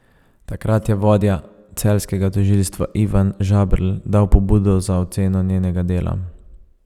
Takrat je vodja celjskega tožilstva Ivan Žaberl dal pobudo za oceno njenega dela.